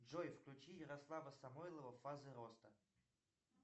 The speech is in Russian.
джой включи ярослава самойлова фазы роста